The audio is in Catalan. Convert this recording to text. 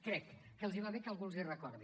crec que els va bé que algú els ho recordi